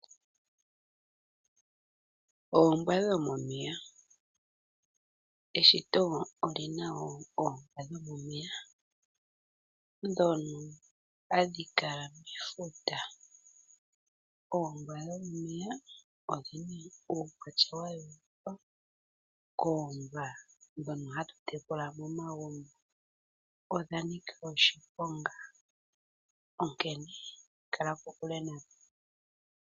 Oombwa dhomomeya, eshito oli na wo oombwa dhomomeya ndhono hadhi kala mefuta. Ombwa dhomomeya odhina uukwatya wa yooloka koombwa ndhono hatu tekula momagumbo odha nika oshi ponga, onkene kala kokule nadho.